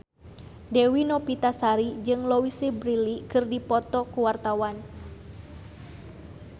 Dewi Novitasari jeung Louise Brealey keur dipoto ku wartawan